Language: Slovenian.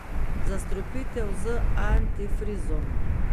Zastrupitev z antifrizom.